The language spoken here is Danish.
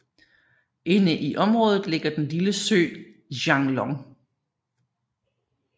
Inde i området ligger den lille sø Xianglong